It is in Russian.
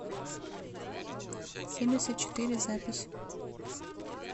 семьдесят четыре запись